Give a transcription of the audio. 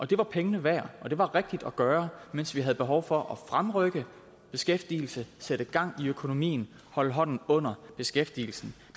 det var pengene værd og det var rigtigt at gøre mens vi havde behov for at fremrykke beskæftigelse sætte gang i økonomien og holde hånden under beskæftigelsen